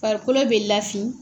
Farikolo bɛ lafiin.